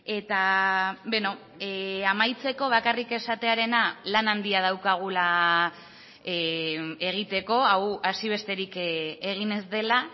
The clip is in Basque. eta amaitzeko bakarrik esatearena lan handia daukagula egiteko hau hasi besterik egin ez dela